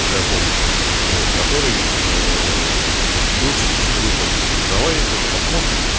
какая помню вот которые но был частично выполнен давай тоже посмотрим